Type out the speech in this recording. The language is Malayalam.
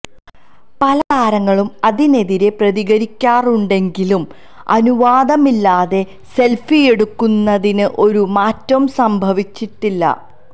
പല താരങ്ങളും അതിനെതിരെ പ്രതികരിക്കാറുണ്ടെങ്കിലും അനുവാദമില്ലാതെ സെല്ഫിയെടുക്കുന്നതിന് ഒരു മാറ്റവും സംഭവിച്ചിട്ടില്ല